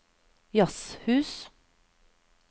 jazzhus